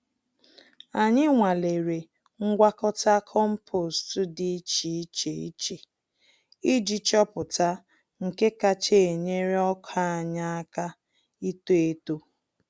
Anyị nwalere ngwakọta kompost dị iche iche iche iji chọpụta nke kacha enyere ọkà anyị àkà ito-eto